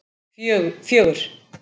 fjögur